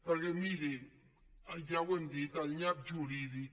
perquè mirin ja ho hem dit el nyap jurídic